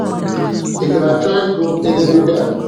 Ị̀ ga-achọ ịgụ ederede a?